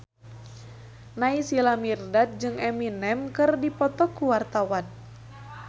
Naysila Mirdad jeung Eminem keur dipoto ku wartawan